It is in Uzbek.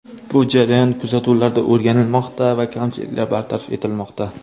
Bu jarayon kuzatuvlarda o‘rganilmoqda va kamchiliklar bartaraf etilmoqda.